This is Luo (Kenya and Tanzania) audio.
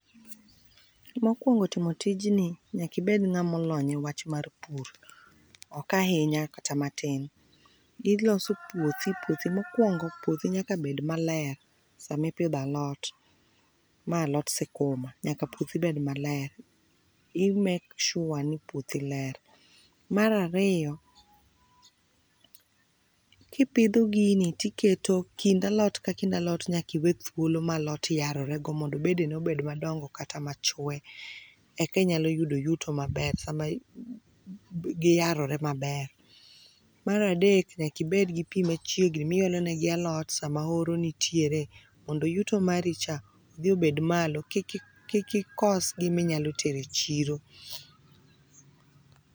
Mokwongo timo tijni, nyaka ibed ng'ama olony e wach mar pur. Ok ahinya kata matin. Iloso puothi, puothi mokwongo, puothi nyaka bed maler sama ipidho alot, ma alot sikuma. Nyaka puothi bed maler. I make sure ni puothi ler. Mar ariyo, kipidho gini, tiketo kind alot ka kind alot nyaka iwe thuolo ma lot yarorego mondo bedene obed madongo kata machwe, eka inyalo yudo yuto maber, sama giyarore maber. Mar adek ,nyaka ibed gi pi machiegni miolonegi alot sama oro nitiere mondo yuto maricha odhi obed malo, kik ikos giminyalo tero e chiro.